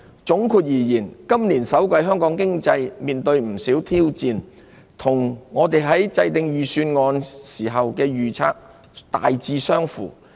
總括而言，今年首季香港經濟面對不少挑戰，與我們在制訂預算案時的預測大致相符。